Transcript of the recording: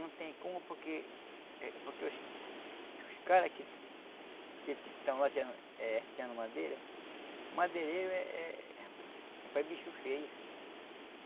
Não tem como porque eh porque os os os caras que que estão lá tirando eh tirando madeira, madeireiro é bicho feio.